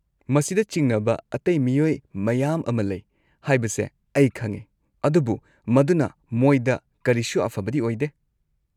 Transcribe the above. ꯃꯁꯤꯗ ꯆꯤꯡꯅꯕ ꯑꯇꯩ ꯃꯤꯑꯣꯏ ꯃꯌꯥꯝ ꯑꯃ ꯂꯩ ꯍꯥꯏꯕꯁꯦ ꯑꯩ ꯈꯪꯉꯦ, ꯑꯗꯨꯕꯨ ꯃꯗꯨꯅ ꯃꯣꯏꯗ ꯀꯔꯤꯁꯨ ꯑꯐꯕꯗꯤ ꯑꯣꯏꯗꯦ꯫